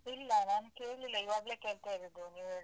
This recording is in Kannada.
ಇಲ್ಲ ನಾನ್ ಕೇಳ್ಲಿಲ್ಲ, ಇವಾಗ್ಲೆ ಕೇಳ್ತಾ ಇರುದು ನೀವ್ ಹೇಳ್ತ ಇರೋದನ್ನ.